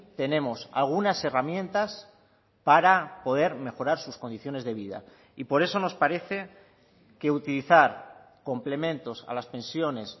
tenemos algunas herramientas para poder mejorar sus condiciones de vida y por eso nos parece que utilizar complementos a las pensiones